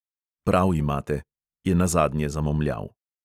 "Prav imate," je nazadnje zamomljal.